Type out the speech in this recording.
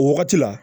O wagati la